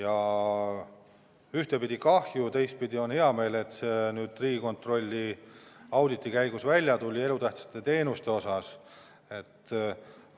Ühtpidi on sellest kõigest kahju, teistpidi on hea meel, et see nüüd ka Riigikontrolli auditi käigus välja tuli, kui käsitleti elutähtsaid teenuseid.